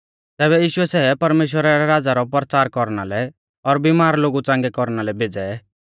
तैबै यीशुऐ सै परमेश्‍वरा रै राज़ा रौ परचार कौरना लै और बिमार लोगु च़ांगै कौरना लै भेज़ै